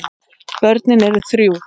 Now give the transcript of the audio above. Börnin eru þrjú.